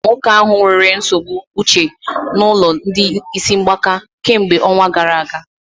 E zigara nwoke ahụ nwere nsogbu uche n'ụlọ ndị isi mgbaka kemgbe ọnwa gara aga